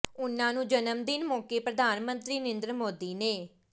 ਉਨ੍ਹਾਂ ਨੂੰ ਜਨਮ ਦਿਨ ਮੌਕੇ ਪ੍ਰਧਾਨ ਮੰਤਰੀ ਨਰਿੰਦਰ ਮੋਦੀ ਨੇ